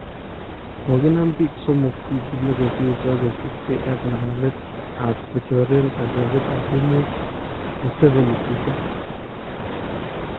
Kokinaam biik somook wikiit nikosirto kosuub kee ak ngalalet ab kochoreen kandoindetab emet Museveni tukaa .